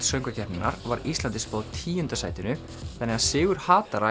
söngvakeppninnar var Íslandi spáð tíunda sætinu þannig sigur